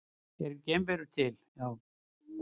Eru geimverur til?